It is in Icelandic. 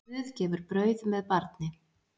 Guð gefur brauð með barni.